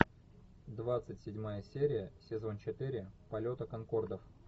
двадцать седьмая серия сезон четыре полета конкордов